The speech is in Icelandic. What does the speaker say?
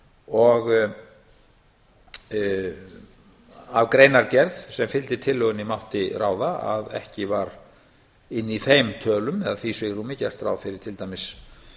og af greinargerð sem fylgdi tillögunni mátti ráða að ekki var einn þeim tölum eða því svigrúmi gert ráð fyrir til dæmis